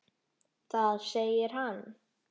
Þar segir hann